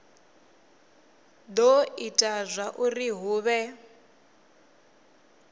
do ita zwauri hu vhe